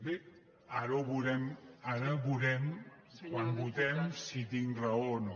bé ara ho veurem ara ho veurem quan votem si tinc raó o no